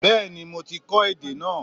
Bẹ́ẹ̀ni mo ti kó èdè náà